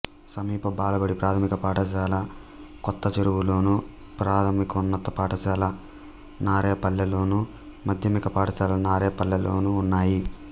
సమీప బాలబడి ప్రాథమిక పాఠశాల కొత్తచెరువులోను ప్రాథమికోన్నత పాఠశాల నారేపల్లెలోను మాధ్యమిక పాఠశాల నారేపల్లెలోనూ ఉన్నాయి